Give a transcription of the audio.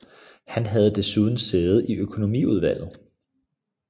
Han havde desuden sæde i økonomiudvalget